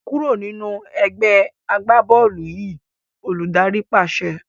Kúrò nínú ẹgbẹ́ agbá-bọ́ọ́lù yìí! Olùdarí pàṣẹ.